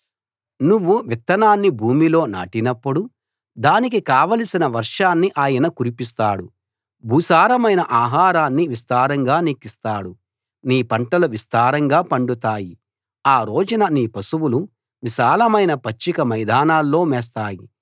నువ్వు విత్తనాన్ని భూమిలో నాటినప్పుడు దానికి కావలసిన వర్షాన్ని ఆయన కురిపిస్తాడు భూసారమైన ఆహారాన్ని విస్తారంగా నీకిస్తాడు నీ పంటలు విస్తారంగా పండుతాయి ఆ రోజున నీ పశువులు విశాలమైన పచ్చిక మైదానాల్లో మేస్తాయి